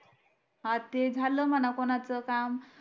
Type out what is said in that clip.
हा ते झालं म्हणा कोणाचं काम